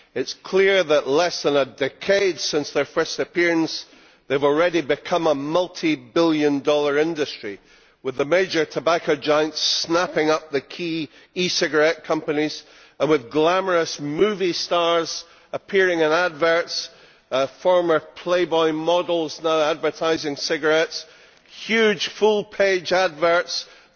It is clear that less than a decade since their first appearance they have already become a multibillion dollar industry, with the major tobacco giants snapping up the key e cigarette companies and with glamorous movie stars appearing in advertisements, former Playboy models now advertising cigarettes, and huge full page advertisements.